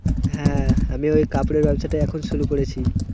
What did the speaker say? হ্যাঁ, আমি ওই কাপড়ের ব্যবসাটাই এখন শুরু করেছি।